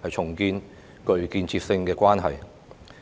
可重建具建設性的關係。